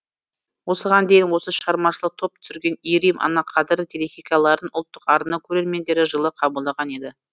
осыған дейін осы шығармашылық топ түсірген иірім ана қадірі телехикаяларын ұлттық арна көрермендері жылы қабылдаған еді